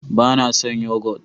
ba na san yogot